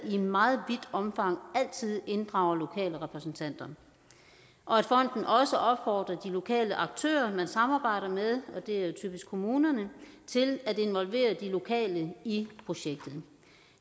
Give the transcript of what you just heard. i meget vidt omfang inddrager lokale repræsentanter og at fonden også opfordrer de lokale aktører man samarbejder med og det er typisk kommunerne til at involvere de lokale i projektet